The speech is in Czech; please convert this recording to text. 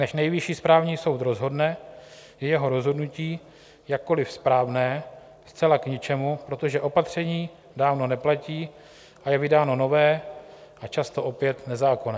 Než Nejvyšší správní soud rozhodne, je jeho rozhodnutí, jakkoli správné, zcela k ničemu, protože opatření dávno neplatí a je vydáno nové a často opět nezákonné.